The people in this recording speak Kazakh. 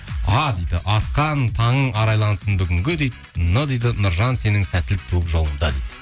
а дейді атқан таңың арайлансын бүгінгі дейді н дейді нұржан сенің сәттілік туып жолыңда дейді